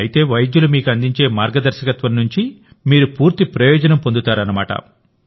అయితే వైద్యులు మీకు అందించే మార్గదర్శకత్వం నుండి మీరు పూర్తి ప్రయోజనం పొందుతారన్నమాట